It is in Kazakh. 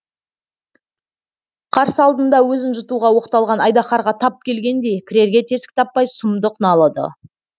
қарсы алдында өзін жұтуға оқталған айдаһарға тап келгендей кірерге тесік таппай сұмдық налыды